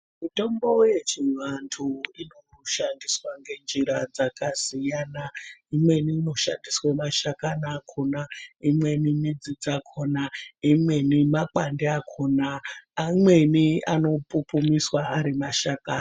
Mutombo yechivantu inoshandiswa ngenjira dzakasiyana. Imweni inoshandiswa mashakani akona, imweni midzi dzakona, imweni makwati akona. Amweni anopupumiswa ari mashakani.